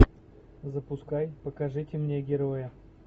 запускай покажите мне героя